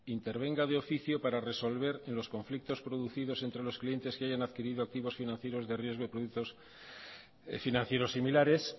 intervenga de oficio para resolver en los conflictos producidos entre los clientes que hayan adquirido activos financieros de riesgo y productos financieros similares